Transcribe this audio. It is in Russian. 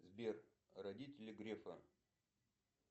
сбер родители грефа